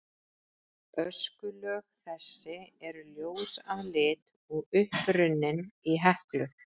Öskulög þessi eru ljós að lit og upprunnin í Heklu.